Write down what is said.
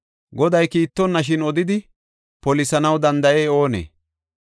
Goday kiittonashin odidi polisanaw danda7ey oonee?